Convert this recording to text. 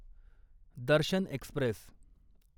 Darshan Express